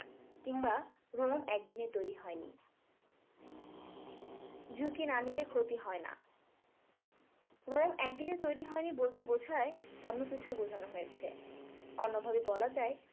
কিংবা একদিনে তৈরি হয় না। ঝুঁকি না নিলে ক্ষতি হয় না। একদিনে তৈরি হয়নি বলতে বোঝায় অন্য কিছু বুঝানো হয়েছে । অন্যভাবে বলা যায়